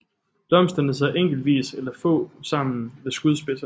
Blomsterne sidder enkeltvis eller få sammen ved skudspidserne